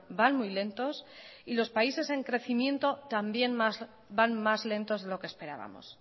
van muy lentos y los países en crecimiento también van más lento de lo que esperábamos